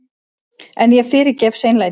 En ég fyrirgef seinlætið.